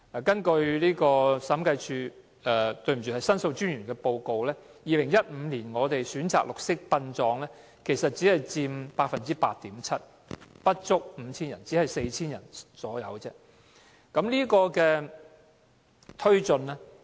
根據申訴專員的報告 ，2015 年選擇綠色殯葬的先人家屬只佔 8.7%， 不足 5,000 人，只有大約 4,000 人。